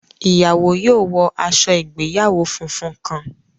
Ìyàwó yóò wọ aṣọ ìgbéyàwó fúnfún kàn